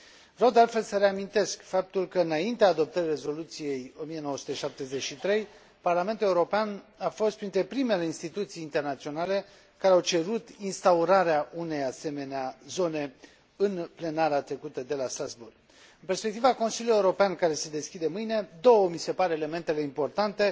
Vreau, de altfel, să reamintesc faptul că, înaintea adoptării rezoluției 1973, Parlamentul European a fost printre primele instituții internaționale care au cerut instaurarea unei asemenea zone, în plenara trecută de la Strasbourg. În perspectiva Consiliului European care se deschide mâine, două mi se par elementele importante